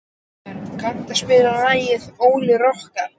Ólíver, kanntu að spila lagið „Óli rokkari“?